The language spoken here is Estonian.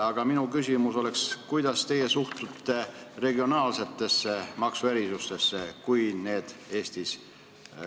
Aga minu küsimus oleks, kuidas teie suhtute regionaalsetesse maksuerisustesse Eestis.